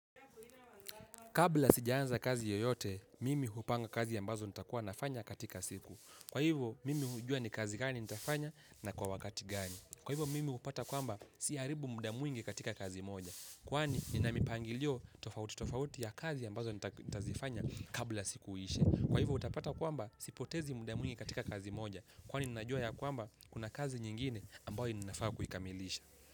Kabla sijaanza kazi yoyote, mimi hupanga kazi ambazo nitakuwa nafanya katika siku. Kwa hivo, mimi hujua ni kazi gani nitafanya na kwa wakati gani. Kwa hivo, mimi hupata kwamba siharibu muda mwingi katika kazi moja. Kwani, ninamipangilio tofauti tofauti ya kazi ambazo nitazifanya kabla siku iishe. Kwa hivo, utapata kwamba sipotezi muda mwingi katika kazi moja. Kwani, ninajua yakwamba kuna kazi nyingine ambayo ninafaa kuikamilisha.